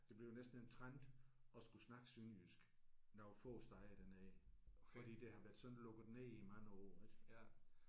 Det bliver næsten en trend at skulle snakke sønderjysk nogle få steder dernede fordi det har været sådan lukket ned i mange år ik